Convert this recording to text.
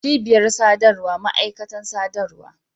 cibiyar sadarwa ma'aikatan sadarwa